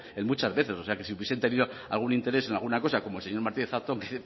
en muchas veces o sea que si hubiesen tenido algún interés en alguna cosa como el señor martínez zatón me